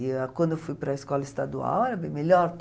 E ãh quando eu fui para a escola estadual, era bem melhor.